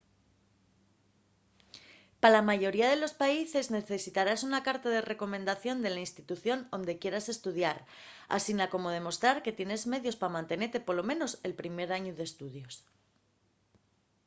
pa la mayoría de los países necesitarás una carta de recomendación de la institución onde quieras estudiar asina como demostrar que tienes medios pa mantenete polo menos el primer añu d'estudios